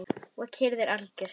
Og kyrrðin algjör.